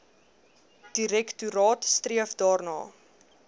direktoraat streef daarna